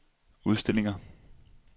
udstillinger